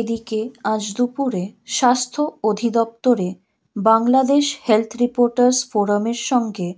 এদিকে আজ দুপুরে স্বাস্থ্য অধিদপ্তরে বাংলাদেশ হেলথ রিপোর্টার্স ফোরামের সঙ্গে